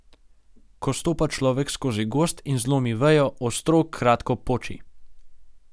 Ko stopa človek skozi gozd in zlomi vejo, ostro kratko poči.